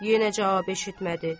Yenə cavab eşitmədi.